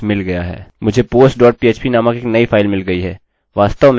साधारणतः और तार्किक रूप से मैं केवल इसके माध्यम से जाऊँगा और इसे पोस्ट में बदलूँगा